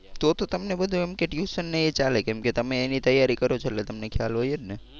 તો તો તમને બધુ એમ કે ટયૂશન ને એ ચાલે કેમ કે તમે એની તૈયારી કરો છો એટલે તમને ખ્યાલ હોય જ ને.